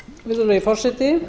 virðulegi forseti